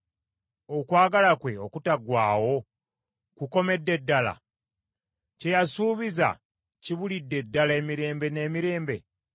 Okwagala kwe okutaggwaawo kukomedde ddala? Kye yasuubiza kibulidde ddala emirembe n’emirembe?